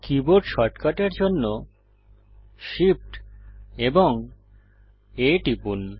keyboard শর্টকাটের জন্য Shift এবং A টিপুন